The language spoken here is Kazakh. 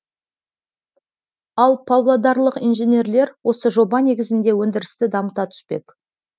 ал павлодарлық инженерлер осы жоба негізінде өнідірісті дамыта түспек